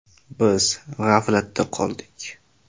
Biz g‘aflatda qoldik.